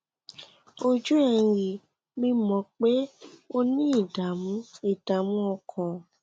ojú ẹ ń rí mi mo mọ pé o ní ìdààmú ìdààmú ọkàn